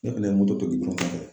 Ne kun me moto to gudɔrɔn kɔfɛ